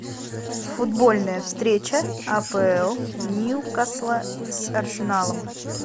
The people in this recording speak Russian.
футбольная встреча апл ньюкасл с арсеналом